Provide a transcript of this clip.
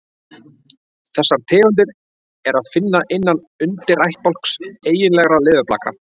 Þessar tegundir er að finna innan undirættbálks eiginlegra leðurblaka.